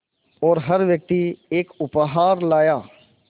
और हर व्यक्ति एक उपहार लाया